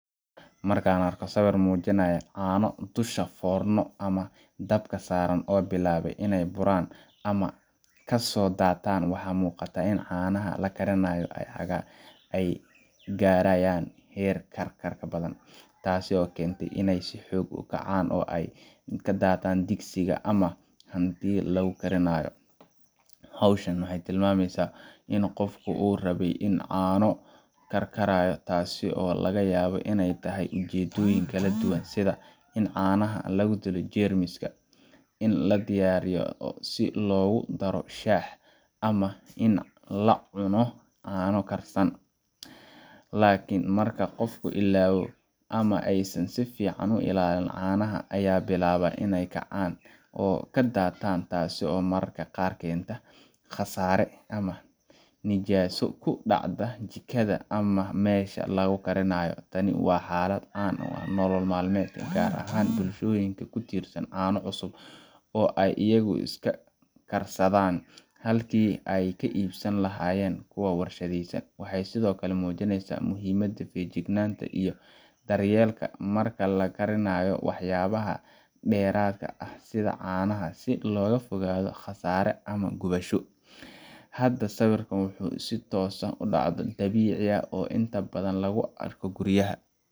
Markaan arko sawir mujinayo canoo dusha forno ama dabka saraan oo bilabay inay buraan ama kasodataab waxa imugata in canaha lakarinayo ay garayaan her karkarka badan tasi oo kentay inay hoog ukacaan oo ay ladataan digsiga ama handi lagukarinayo, howshaan waxay tilmameysa in gofku uu rabay in cano karkaya taasi oo lagayawo inay tahayujedoyin kaladuwaan sidha in canaha lagudilo jermiska in ladiyariyo si logudaroo shaah ama in lacuno cano karsan, lakin marka gofku ilawo ama aysan si fican uilalin canaha aya bilaba inay kacaan oo kadadatan taasi oo mararka gaar kenta qasare ama nijaso kudacda jikada ama mesha lagukarinayo, taani wa halaad caan ah oo nolol malamed gaar ahan bulshoyinka kutirsan cano cusub oo ay iyagu iska karsadan halki ay kaibsan lahayen kuwa warshadeysan, waxay sidhokale mujinaysa muxiimada fayajignanta iyo daryelka marka lakarinayo wax yahaba deratka aha sidha canaha si logafogado qasaro ama gubasho, hada sawirka wuxu si toos ah udacdo dabici aha oo inta badan laguarko guriyaha.